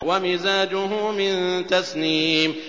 وَمِزَاجُهُ مِن تَسْنِيمٍ